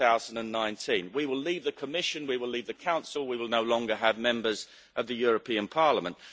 2019. We will leave the Commission, we will leave the Council, we will no longer have members of the European Parliament.